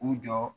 U jɔ